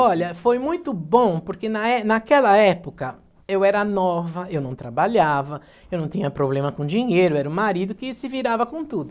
Olha, foi muito bom porque na é naquela época eu era nova, eu não trabalhava, eu não tinha problema com dinheiro, era o marido que se virava com tudo.